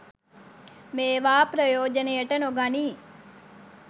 මේවා ප්‍රයෝජනයට නොගනී.